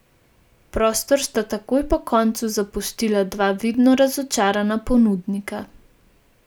Prostor sta takoj po koncu zapustila dva vidno razočarana ponudnika.